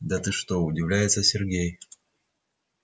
да ты что удивляется сергей